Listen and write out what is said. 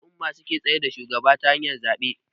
Al'umma su suke tsayar da shugaba ta hanyar zabe